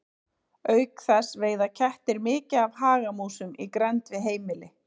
Auk þess veiða kettir mikið af hagamúsum í grennd við heimili.